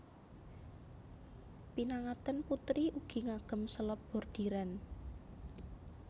Pinangantèn putri ugi ngagem selop bordiran